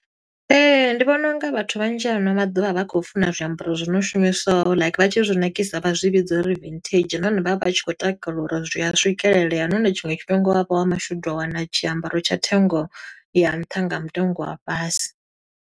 Ee. Ndi vhona unga vhathu vhanzhi ano maḓuvha vha khou funa zwiambaro zwi no shumiswaho like vha tshi zwi ṋakisa vha zwi vhidza uri vintage. Nahone vha vha vhatshi khou takalela uri zwi a swikelelea, nahone tshiṅwe tshifhinga u wa vha wa mashudu, wa wana tshiambaro tsha thengo ya nṱha nga mutengo wa fhasi.